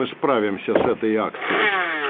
мы справимся с этой акцией